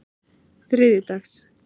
þriðjudags